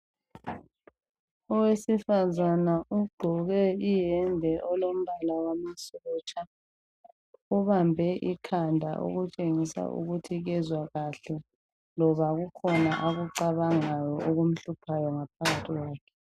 Owesifazana ugqoke ihembe elombala wamasotsha. Ubambe ikanda okutshengisa ukuthi kwezwa kahle. Loba kukhona akucabangayo okumhluphayongaphakathi kwakhe.